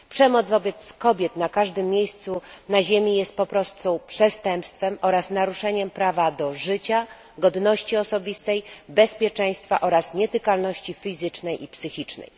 Przemoc wobec kobiet na każdym miejscu na ziemi jest po prostu przestępstwem oraz naruszeniem prawa do życia, godności osobistej, bezpieczeństwa oraz nietykalności fizycznej i psychicznej.